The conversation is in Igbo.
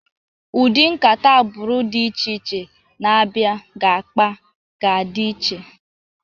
Ụdị nkata agbụrụ dị iche iche na abịa ga-akpa ga-adị iche.